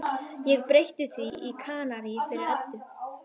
Ég breytti því í Kanarí fyrir Eddu.